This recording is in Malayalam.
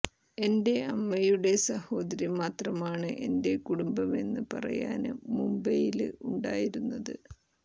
എന്റെ അമ്മയുടെ സഹോദരി മാത്രമാണ് എന്റെ കുടുംബമെന്ന് പറയാന് മുംബൈയില് ഉണ്ടായിരുന്നത്